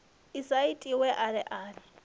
i sa itiwe ale ale